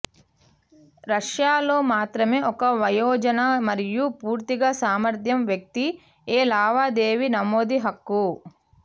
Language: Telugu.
రష్యాలో మాత్రమే ఒక వయోజన మరియు పూర్తిగా సామర్థ్యం వ్యక్తి ఏ లావాదేవీ నమోదు హక్కు